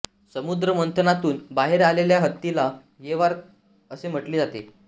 समुद्रमंथनातून बाहेर आलेल्या हत्तीला ऐरावत असे म्हटले जाते